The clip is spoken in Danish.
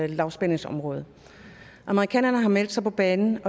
lavspændingsområde amerikanerne har meldt sig på banen